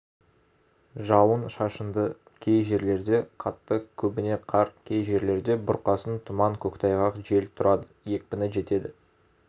жауын-шашынды кей жерлерде қатты көбіне қар кей жерлерде бұрқасын тұман көктайғақ жел тұрады екпіні жетеді